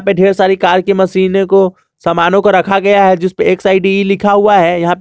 में ढेर सारी कार की मशीने को सामानों को रखा गया है जिस पर एक साइड लिखा हुआ है यहां--